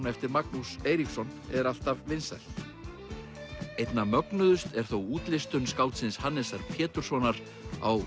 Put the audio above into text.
eftir Magnús Eiríksson er alltaf vinsælt einna mögnuðust er þó útlistun skáldsins Hannesar Péturssonar á